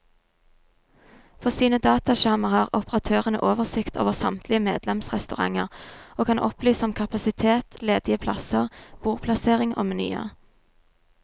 På sine dataskjermer har operatørene oversikt over samtlige medlemsrestauranter, og kan opplyse om kapasitet, ledige plasser, bordplassering og menyer.